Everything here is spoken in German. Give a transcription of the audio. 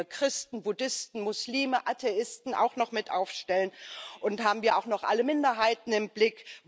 Wollen wir Christen, Buddhisten, Muslime, Atheisten auch noch mit aufstellen? Und haben wir auch noch alle Minderheiten im Blick?